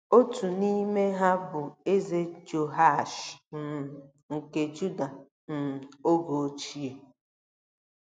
Otu n’ime ha bụ Eze Jehoashi um nke Juda um oge ochie um.